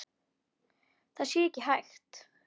Það sé ekki hægt.